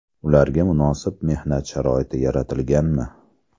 Ularga munosib mehnat sharoiti yaratilganmi?.